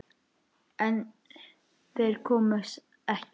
En þeir koma ekki.